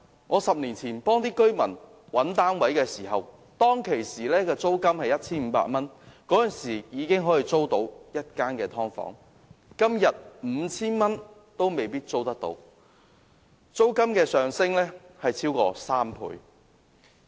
我10年前幫居民找單位時 ，1,500 元已經可以租到1間"劏房"，但今天 5,000 元也未必能夠租到，租金升幅超過3倍。